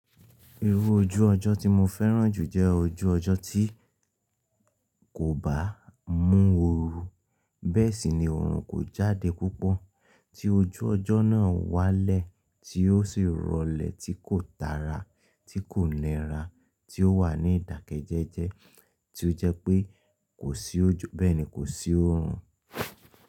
Irú ojú ọjọ́ tí mo fẹ́ràn jù jẹ́ ojú ọjọ́ tí kò bá mú oru. Bẹ́ẹ̀ sì ni oorun kò jáde púpọ̀ tí ojú ọjọ́ náà wá lẹ̀ tí ó sì rọlẹ̀ tí kò tara, tí kò nira, tí ó wà ní ìdàkejẹjẹ, tí ó jẹ́ pé kò sí ojo, bẹ́ẹ̀ ni kò sí oorun.